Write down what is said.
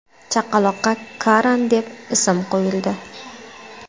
Chaqaloqqa Karan deb ism qo‘yildi.